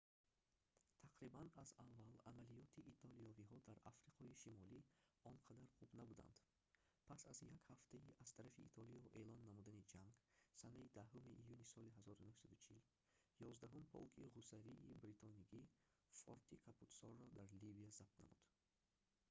тақрибан аз аввал амалиёти итолиёвиҳо дар африқои шимолӣ онқадар хуб набуданд пас аз як ҳафтаи аз тарафи итолиё эълон намудани ҷанг санаи 10 июни соли 1940 11-ум полки ғӯсарии бритонигӣ форти капутсоро дар ливия забт намуд